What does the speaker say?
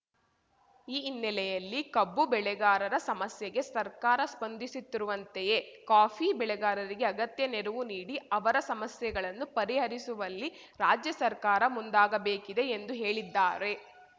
ಈ ಹಿನ್ನೆಲೆಯಲ್ಲಿ ಕಬ್ಬು ಬೆಳೆಗಾರರ ಸಮಸ್ಯೆಗೆ ಸರ್ಕಾರ ಸ್ಪಂದಿಸುತ್ತಿರುವಂತೆಯೇ ಕಾಫಿ ಬೆಳೆಗಾರರಿಗೆ ಅಗತ್ಯ ನೆರವು ನೀಡಿ ಅವರ ಸಮಸ್ಯೆಗಳನ್ನು ಪರಿಹರಿಸುವಲ್ಲಿ ರಾಜ್ಯ ಸರ್ಕಾರ ಮುಂದಾಗಬೇಕಿದೆ ಎಂದು ಹೇಳಿದ್ದಾರೆ